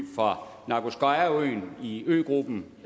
fra nagurskoyeøen i øgruppen